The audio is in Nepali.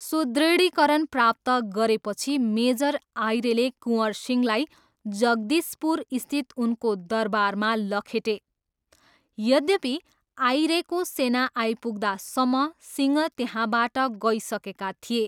सुदृढीकरण प्राप्त गरेपछि मेजर आइरेले कुँवर सिंहलाई जगदिशपुरस्थित उनको दरबारमा लखेटे, यद्यपि, आइरेको सेना आइपुग्दासम्म सिंह त्यहाँबाट गइसकेका थिए।